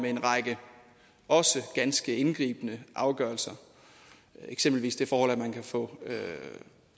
en række ganske indgribende afgørelser eksempelvis det forhold at man kan få